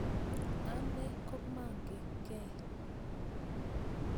Ane komamakekei